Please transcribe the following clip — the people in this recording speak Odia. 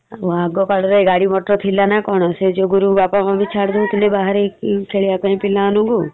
ଆଗ କାଳରେ ଗାଡି motor ଥିଲା ନା କଣ ସେଇ ଯୋଗୁରୁ ବାପା mummy ଛାଡୁ ନଥିଲେ ବାହାରିକି ଖେଳିବାକୁ ପିଲାମାନଙ୍କୁ ।